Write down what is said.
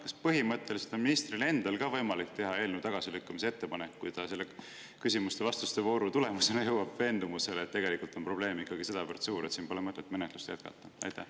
Kas põhimõtteliselt on ministril endal ka võimalik teha eelnõu tagasilükkamise ettepanek, kui ta selle küsimuste ja vastuste vooru tulemusena jõuab veendumusele, et tegelikult on probleem ikkagi sedavõrd suur, et siin pole mõtet menetlust jätkata?